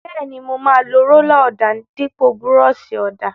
Bẹ́ẹ̀ni, mo máa lo rólà ọ̀dà dípò búrọ́ọ̀ṣì ọ̀dà.